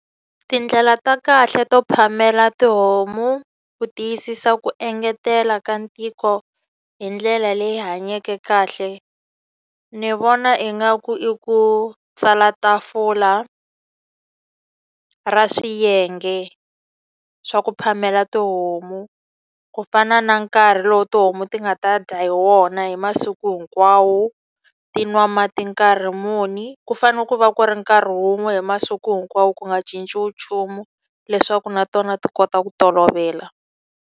Tindlela ta kahle to phamela tihomu ku tiyisisa ku engetela ka ntiko hi ndlela leyi hanyeke kahle, ni vona ingaku i ku tsala tafula ra swiyenge swa ku phamela tihomu. Ku fana na nkarhi lowu tihomu ti nga ta dya hi wona hi masiku hinkwawo, ti nwa mati nkarhi muni. Ku fanele ku va ku ri nkarhi wun'we hi masiku hinkwawo ku nga cinciwi nchumu, leswaku na tona ti kota ku tolovela.